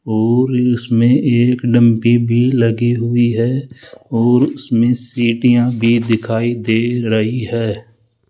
और इसमें एक डंपी भी लगी हुई है और उसमें सीटियां भी दिखाई दे रही है।